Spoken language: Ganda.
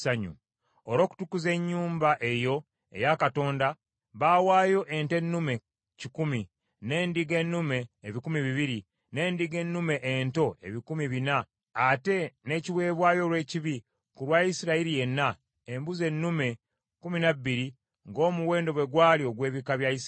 Olw’okutukuza ennyumba eyo eya Katonda, baawaayo ente ennume kikumi, n’endiga ennume ebikumi bibiri, n’endiga ennume ento ebikumi bina, ate n’ekiweebwayo olw’ekibi ku lwa Isirayiri yenna, embuzi ennume kkumi na bbiri, ng’omuwendo bwe gwali ogw’ebika bya Isirayiri.